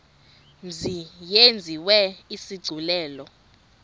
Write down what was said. mzi yenziwe isigculelo